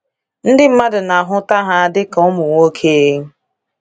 Ndị mmadụ na ahụta ha dị ka ụmụ nwoke.